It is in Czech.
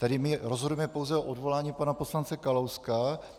Tedy my rozhodujeme pouze o odvolání pana poslance Kalouska.